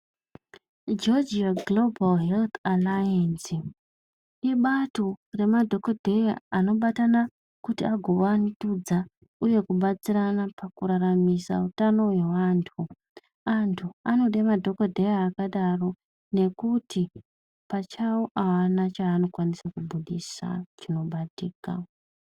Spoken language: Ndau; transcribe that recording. Georgia Global Health Alliance, ibato remadhokodheya anobatana kuti agovandudza uye kubatsirana pakuraramisa utano hweantu. Antu anode madhokodheya akadaro nekuti pachavo haana chaanokwanisa kubudhisa chinobatika.